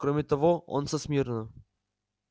кроме того он со смирно